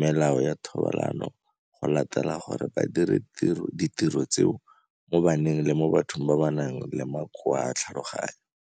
melao ya thobalano go latela gore ba dire ditiro tseo mo baneng le mo bathong ba ba nang le makoa a tlhaloganyo.